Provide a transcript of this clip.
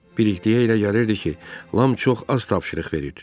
Bilikliyə elə gəlirdi ki, Lam çox az tapşırıq verir.